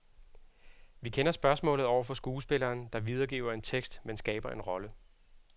Vi kender spørgsmålet over for skuespilleren, der videregiver en tekst, men skaber en rolle.